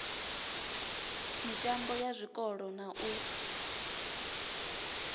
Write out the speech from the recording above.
mitambo ya zwikolo na u